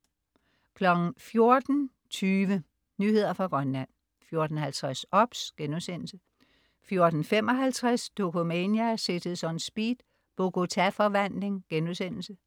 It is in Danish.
14.20 Nyheder fra Grønland 14.50 OBS* 14.55 Dokumania: Cities On Speed. Bogota forvandling*